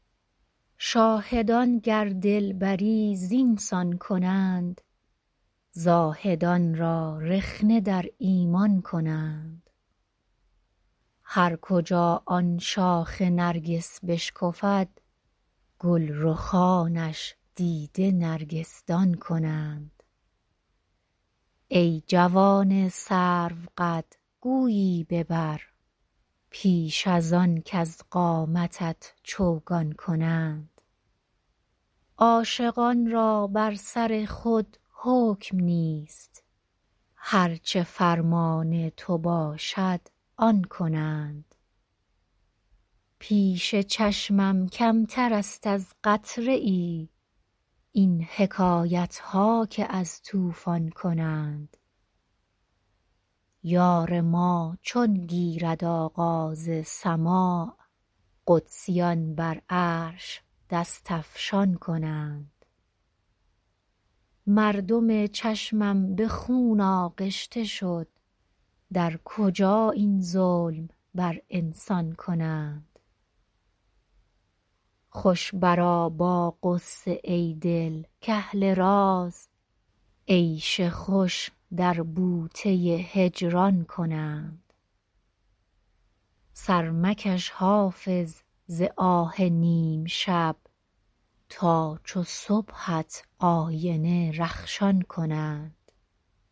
شاهدان گر دلبری زین سان کنند زاهدان را رخنه در ایمان کنند هر کجا آن شاخ نرگس بشکفد گل رخانش دیده نرگس دان کنند ای جوان سروقد گویی ببر پیش از آن کز قامتت چوگان کنند عاشقان را بر سر خود حکم نیست هر چه فرمان تو باشد آن کنند پیش چشمم کمتر است از قطره ای این حکایت ها که از طوفان کنند یار ما چون گیرد آغاز سماع قدسیان بر عرش دست افشان کنند مردم چشمم به خون آغشته شد در کجا این ظلم بر انسان کنند خوش برآ با غصه ای دل کاهل راز عیش خوش در بوته هجران کنند سر مکش حافظ ز آه نیم شب تا چو صبحت آینه رخشان کنند